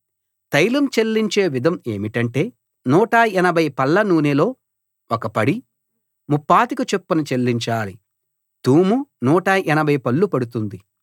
తైలం చెల్లించే విధం ఏమిటంటే 180 పళ్ల నూనెలో ఒక పడి ముప్పాతిక చొప్పున చెల్లించాలి తూము 180 పళ్లు పడుతుంది